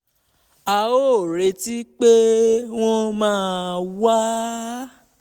a ò retí pé wọ́n máa wá